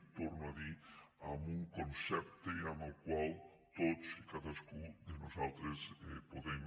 ho torno a dir amb un concepte amb el qual tots i cadascun de nosaltres podem